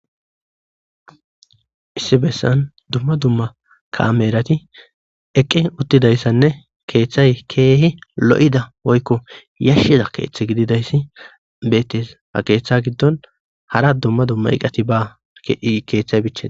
issi bessan dumma dumma kaameerati eqqi uttidayssanne keeththay keehi lo'ida woykko yashshiza keeththe gididayssi beettes ha keeththa giddon hara dumma dumma iqati ba keeththay bichina